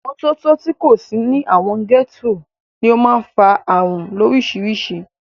Ìmọ́tótó tí kò sí ní àwọn gẹ́tò ní o máà ń fa ààrùn lórísirísì.